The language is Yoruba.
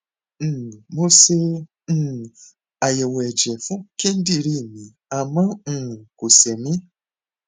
um mo ṣe um àyẹwò ẹjẹ fún kíndìnrín mi àmọ um kò ṣe mí